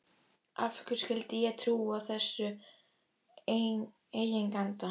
Af hverju skyldi ég trúa þessum eiganda?